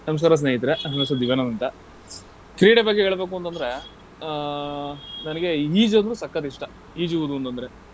ನಮ್ಸ್ಕಾರ ಸ್ನೇಹಿತ್ರೆ, ನನ್ ಹೆಸ್ರು ದಿವ್ಯಾನಂದ್ ಅಂತ. ಕ್ರೀಡೆ ಬಗ್ಗೆ ಹೇಳ್ಬೇಕು ಅಂತಂದ್ರೆ, ಆಹ್ ನಂಗೆ ಈಜು ಅಂದ್ರೆ ಸಕ್ಕತ್ ಇಷ್ಟ. ಈಜುವುದು ಅಂತಂದ್ರೆ.